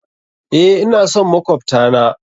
Eh, ina son makwabta na.